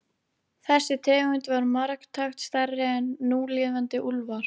Þessi tegund var marktækt stærri en núlifandi úlfar.